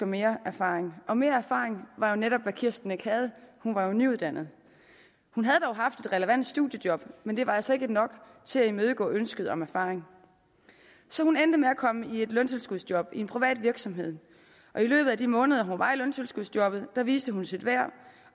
mere erfaring og mere erfaring var jo netop hvad kirsten ikke havde hun var jo nyuddannet hun havde dog haft et relevant studiejob men det var altså ikke nok til at imødekomme ønsket om erfaring så hun endte med at komme i et løntilskudsjob i en privat virksomhed og i løbet af de måneder hun var i løntilskudsjobbet viste hun sit værd